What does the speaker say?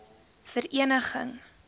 vereniging